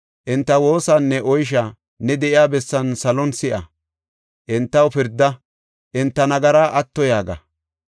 enta woosaanne oysha ne de7iya bessan salon si7a; entaw pirda; enta nagaraa atto” yaaga.